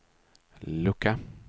lucka